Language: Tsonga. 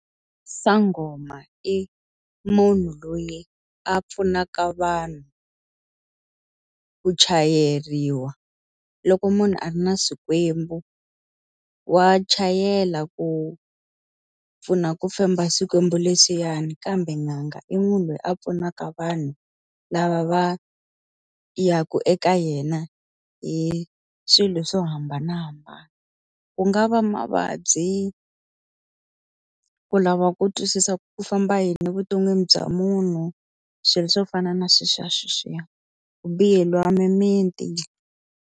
Sangoma i munhu loyi a pfunaka vanhu ku chayeriwa, loko munhu a ri na swikwembu wa chayela ku a pfuna ku femba swikwembu leswiyani. Kambe n'anga i munhu loyi a pfunaka vanhu lava va yaka eka yena hi swilo swo hambanahambana. Ku nga va mavabyi, ku lava ku twisisa ku ku famba yini evuton'wini bya munhu. Swilo swo fana na sweswiyasweswiya, ku biheriwa mimiti.